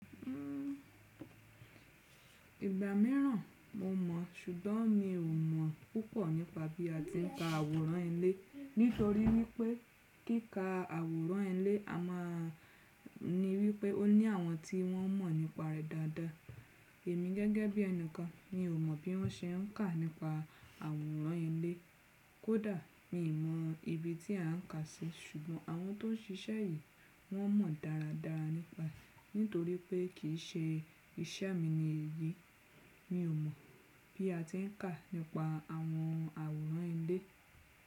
Ìgbà mìíràn mo mọ̀ ṣùgbọ́n mi ò mọ̀ púpọ̀ nípa bí a ti ń ka àwòrán ilé. Nítorí wípé kíkà àwòrán ilé a máa ní wípé ó ní àwọn tí wọ́n mọ̀ nípa rẹ̀ dáadáa. Èmi gẹ́gẹ́ bí ẹnìkan mi ò mọ̀ bí wọ́n ṣe ń kà nípa àwòrán ilé. Kódà mi ò mọ ibi tí à ń kà sé ṣùgbọ́n àwọn tó ń ṣiṣẹ́ èyí wọ́n mọ̀ dáradára nípa. Nítorí pé kì í ṣe iṣẹ́ mi ni èyí, mi ò mọ̀ bí a ti ń kà nípa àwọn àwòrán ilé.